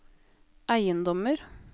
eiendommer